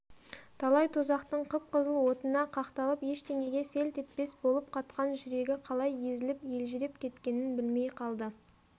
талай тозақтың қып-қызыл отына қақталып ештеңеге селт етпес болып қатқан жүрегі қалай езіліп елжіреп кеткенін білмей қалды